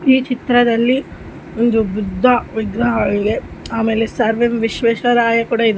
ಈ ಚಿತ್ರದಲ್ಲಿ ಒಂದು ಬುದ್ಧ ವಿಗ್ರಹವಿದೆ ಆಮೇಲೆ ಸರ್‌ ಎಂ ವಿಶ್ವೇರರಾಯ ಕೂಡ ಇದೆ --